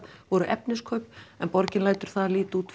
voru efniskaup en borgin lætur það líta út